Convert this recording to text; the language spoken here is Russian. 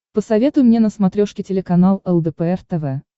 посоветуй мне на смотрешке телеканал лдпр тв